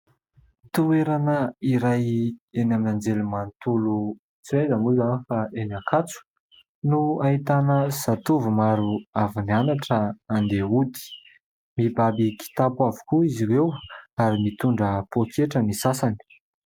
Toerana iray eny amin'ny anjerimanontolo, tsy aiza moa izany fa eny Ankatso, no ahitana zatovo maro avy nianatra handeha hody ; mibaby kitapo avokoa izy ireo ary mitondra pôketra ny sasany.